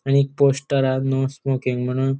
आणि एक पोस्टर हा नो स्मोकिंग म्हणून --